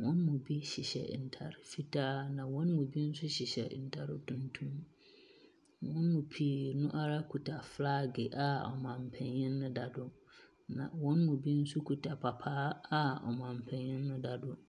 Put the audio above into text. Wɔn mu bi hyehyɛ ntaade fitaa. Na wɔn mu bi nso hyehyɛ ntaare tuntum. Wɔn mu pii naa ara kita filag a ɔmanpanyin no da do. Na wɔn mu pii no nso kita papaa a ɔmanpanyin no da do.